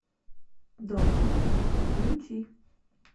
должность включи